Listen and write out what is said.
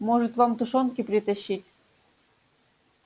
может вам тушёнки притащить